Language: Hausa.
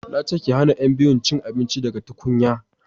na ce ki hana yan biyun cin abinci daga tukunya!